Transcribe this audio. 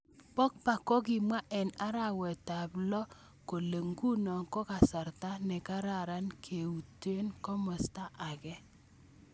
Pogba kokimwa eng arawet ab log kole, nguno konkasarta kararan keuto komasta ake.